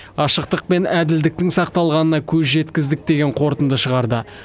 ашықтық пен әділдіктің сақталғанына көз жеткіздік деген қорытынды шығарды